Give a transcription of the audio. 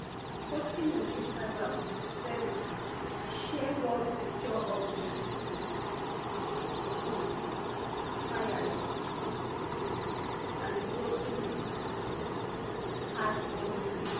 posting on instagram sperry share one picture of di um um fires um and broken heart emoji